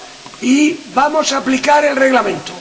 y vamos a aplicar el Reglamento.